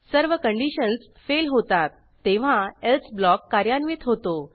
सर्व conditions fail होतात तेव्हा एल्से ब्लॉक कार्यान्वित होतो